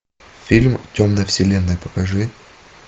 фильм темная вселенная покажи